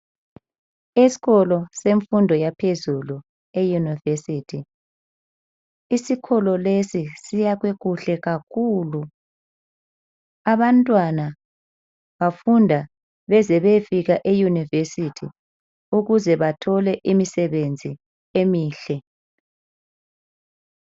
Esikolo semfundo yaphezulu eYunivesithi. Isikolo lesi siyakhwe kuhle kakhulu. Abantwana bafunda beze beyefika eYunivesithi ukuze bathole imisebenzi emihle.